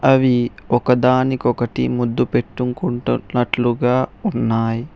అవి ఒకదానికొకటి ముద్దు పెట్టుకుంటునట్లుగా ఉన్నాయి.